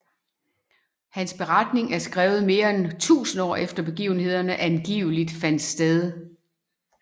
Hans beretning er skrevet mere end 1000 år efter begivenhederne angiveligt fandt sted